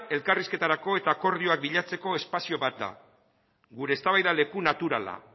elkarrizketarako eta akordioak bilatzeko espazio bat da gure eztabaida leku naturala